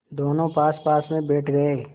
दोेनों पासपास बैठ गए